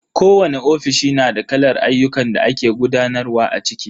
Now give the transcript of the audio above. Kowani ofishi na da kalar ayyukan da ake gudanarwa a ciki.